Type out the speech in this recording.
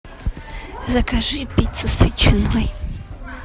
закажи пиццу с ветчиной